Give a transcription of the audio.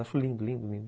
Acho lindo, lindo, lindo.